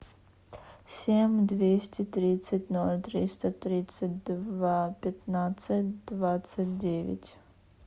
семь двести тридцать ноль триста тридцать два пятнадцать двадцать девять